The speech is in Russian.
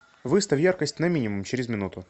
выставь яркость на минимум через минуту